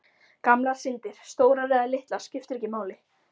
Gamlar syndir, stórar eða litlar, skipta ekki máli.